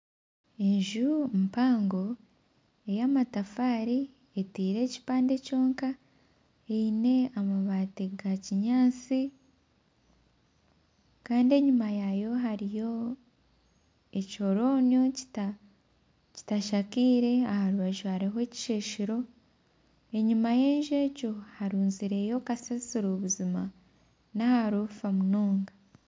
Enju mpango ey'amatafaari eteire ekipande kyonka eine amabaati ga kinyaatsi kandi enyima yaayo hariyo ekihoronio kitashakaire. Aha rubaju hariho ekisheshero enyima y'enju egyo harunzireyo kasasiro buzima n'aharofa munonga.